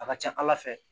A ka ca ala fɛ